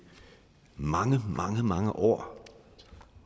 mange mange år